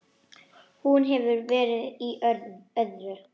Hún hefur verið í öðru.